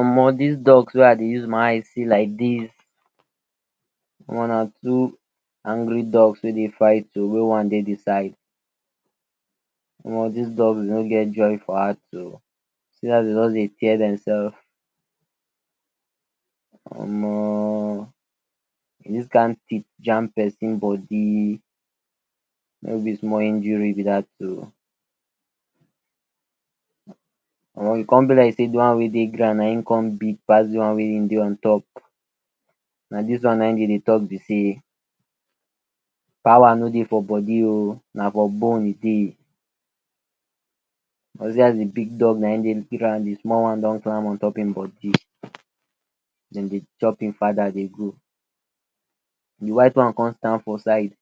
Omo dis dogs wey I dey use my eyes see like dis Omo na two angry dogs wey dey fight oh, wey one dey de side, Omo dis dogs no get joy for heart oh, see as dem just dey tear dem selve Omo if dis kind teeth jam persin body no be small injury be dat oh, Omo e con be like say de one wey dey ground na hin con big pass de one wey e dey ontop, na dis one na hin dem dey talk b sey, power no dey for body oh, na for bone e dey, cause see as de big dog na hin dey ground de small one don climb ontop hin body, dem dey chop hin father dey go, d white one con stand for side,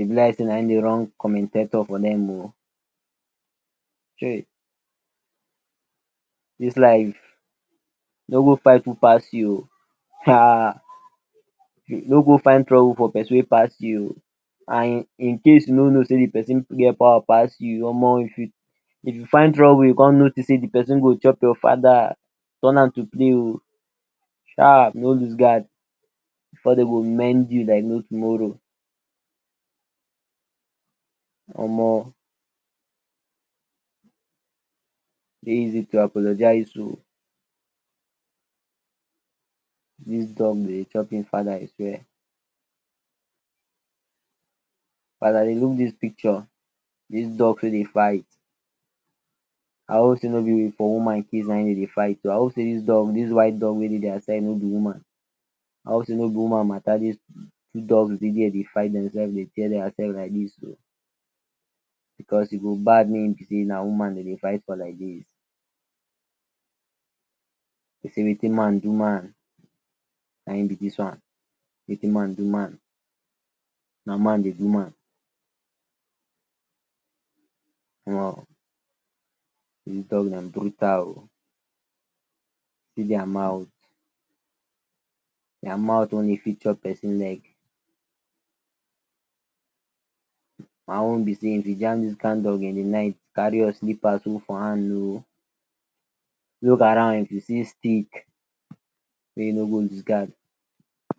e b like sey na hin dey run commentator for dem o, dis life no go fight who pass you oh, [um]no go find trouble for person wey pass u oh, and incase u no no sey de persin get powa pass you Omo if u find trouble con notice sey de persin dey chop your fada turn am to play o sharps no loose guard, before dem go mend you like no tomorrow, Omo e dey easy to apologize oh, dis dog dey chop hin fada I swear, as I dey look dis picture dis dogs wey dey fight I hope sey no b for woman case naim dem dey fight oh I hope sey dis white dog wey dey dia side no b woman, I hope sey no b woman matter dis two dogs dey there dey fight themselve dey tear dia selves like dis o, because e go bad make e b sey na woman dem dey fight for like dis, dey sey Wetin man do man, na hin b dis one, Wetin man do man, na man dey do man, Omo brutal oh, see dia mouth, dia mouth wey e fit chop persin neck, my own b sey if u Jam dis kind dog in de night carry your slippers hold for hand oh, look around if u see stick mey u no go loose guard.